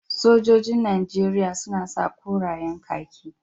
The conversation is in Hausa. Sojojin najeriya suna korayen kaki